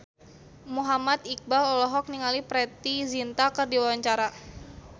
Muhammad Iqbal olohok ningali Preity Zinta keur diwawancara